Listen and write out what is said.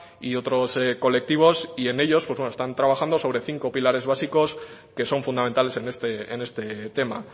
y otros colectivos y en ellos están trabajando sobre cinco pilares básicos que son fundamentales en este tema